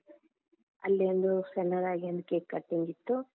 ಅಲ್ಲಿ ಒಂದು ಸಣ್ಣದಾಗಿ ಒಂದು cake cutting ಇತ್ತು.